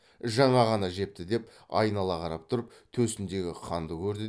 жаңа ғана жепті деп айнала қарап тұрып төсіндегі қанды көрді